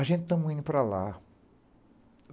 A gente estamos indo para lá.